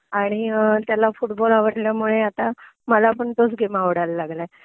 आणि त्याला फुटबॉल आवडल्यामुळे आता मला पण तोच गेम आवडायलागलंय